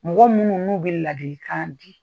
Mɔgɔ minnu n'u bɛ ladilikan di.